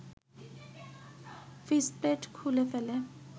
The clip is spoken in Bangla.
ফিসপ্লেট খুলে ফেলে